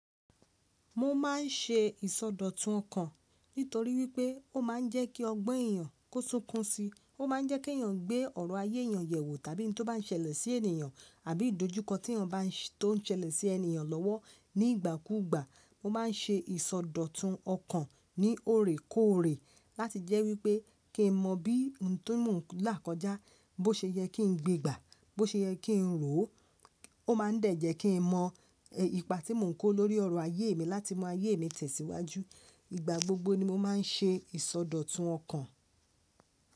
Mo máa ń ṣe ìsọdọ̀tun ọkàn nítorí wípé ó máa ń jẹ́ kí ọgbọ́n èèyàn kó súnkún si, ó máa ń jẹ́ kí èèyàn gbé ọ̀rọ̀ ayé èèyàn yẹ̀ wò tàbí ohun tó bá ń ṣẹlẹ̀ sí ènìyàn àbí ìdojúkọ tí èèyàn bá ń ṣẹlẹ̀ sí ènìyàn lọ́wọ́ ní ìgbà kú ìgbà. Mo máa ń ṣe ìsọdọ̀tun ọkàn ní òrèkóòrè láti jẹ́ wípé kí n mọ bí ohun tí mò ń là kọjá, bó ṣe yẹ kí n gbé gbà, bó ṣe yẹ kí n rò ó, ó máa ń dà jẹ kí n mọ ipa tí mò ń kó lórí ọ̀rọ̀ ayé mi láti mọ ayé mi tẹ̀síwájú. Ìgbà gbogbo ni mo máa ń ṣe ìsọdọ̀tun ọkàn.